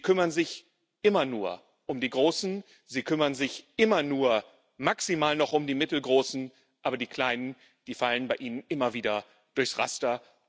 Sie kümmern sich immer nur um die Großen, Sie kümmern sich immer nur maximal noch um die Mittelgroßen, aber die Kleinen, die fallen bei Ihnen immer wieder durchs Raster.